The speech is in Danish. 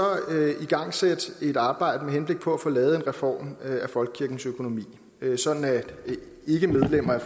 igangsætte et arbejde med henblik på at få lavet en reform af folkekirkens økonomi sådan at ikkemedlemmer af